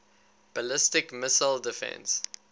ballistic missile defense